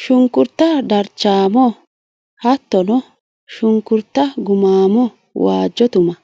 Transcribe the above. Shunkurta darchamo hattono shunkurta gumamo waajjo tuma